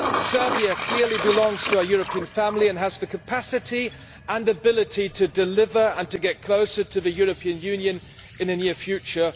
Serbia clearly belongs to our European family and has the capacity and ability to deliver and to get closer to the European Union in the near future.